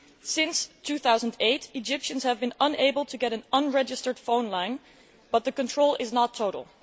Since 2008, Egyptians have been unable to get an unregistered phone line, but the control is not total.